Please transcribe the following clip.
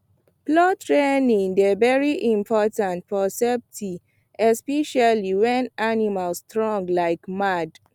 plow training dey very important for safety especially when animal strong like mad